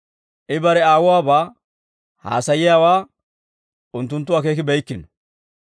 I bare Aawuwabaa haasayiyaawaa unttunttu akeekibeykkino.